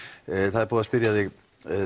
það er búið að spyrja þig